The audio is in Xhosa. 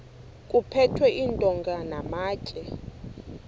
kuphethwe iintonga namatye